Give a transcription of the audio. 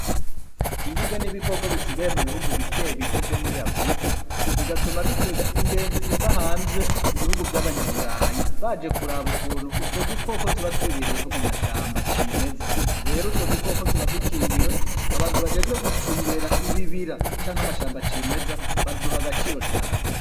Inguge n'ibikoko bisigaye mu bihugu bikebike vyo muri afrika bigatuma bikwega ingenzi ziva hanze mu bihugu vy'abanyaburayi baje kuraba ukuntu utwo dukoko tuba twibereyeho mu mashamba cimeza rero utwo dukoko tuba dukingiwe abantu bajejwe gucungera ibibira canke amashamba cimeza baduha agaciro cane.